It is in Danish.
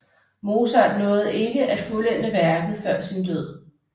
Mozart nåede ikke at fuldende værket før sin død